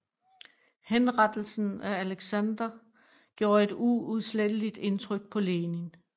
Henrettelsen af Aleksandr gjorde et uudsletteligt indtryk på Lenin